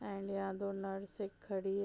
and यहाँ दो नर्से खड़ी --